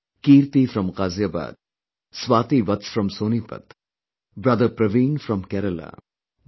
Kirti from Ghaziabad, Swati Vats from Sonepat, brother Praveen from Kerala, Dr